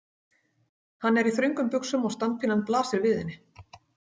Hann er í þröngum buxum og standpínan blasir við henni.